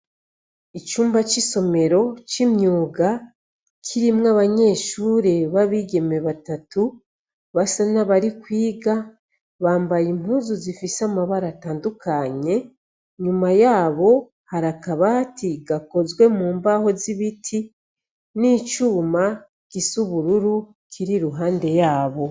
Icumba c'isomero c'imyuga kirimwo abanyeshure b'abigeme batatu basa n'abari kwiga bambaye impuzu zifise amabara atandukanye nyuma yabo harakabati gakozwe mu mbaho z'ibiti n'icuma giue yubururu kiri ruhande yabo.